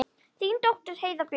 Þín dóttir Heiða Björk.